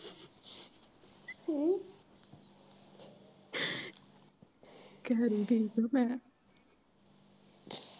ਕਿ ਹੈਰੀ ਠੀਕ ਐ ਮੈਂ ।